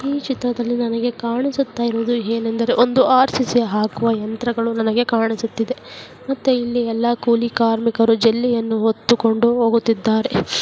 ಈ ಚಿತ್ರದಲ್ಲಿ ನನಗೆ ಕಾಣಿಸುತ್ತಿರುವುದು ಏನಂದರೆ ಒಂದು ಅರ್ಚಿಸಿ ಹಾಕುವ ಯಂತ್ರಗಳು ನನಗೆ ಕಾಣಿಸುತ್ತಿದೆ ಮತ್ತೆ ಇಲ್ಲಿ ಎಲ್ಲಾ ಕೂಲಿ ಕಾರ್ಮಿಕರು ಜೆಲ್ಲಿಯನ್ನು ಹೊತ್ತು ಕೊಂಡು ಹೋಗುತ್ತೀದ್ದಾರೆ --